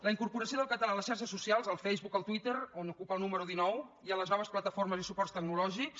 la incorporació del català a les xarxes socials al facebook al twitter on ocupa el número dinou i a les noves plataformes i suports tecnològics